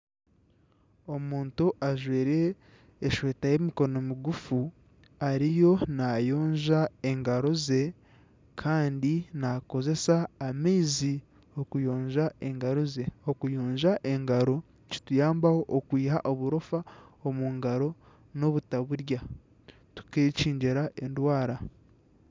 Omuntu ajwaire eshweta y'emikono migufu ariyo naayonja engaro ze kandi naakozesa amaizi okuyonja engaro ze. Okuyonja engaro nikituyambaho okweyihaho oburofa omu ngaro n'obutaburya tukekyingira endwara.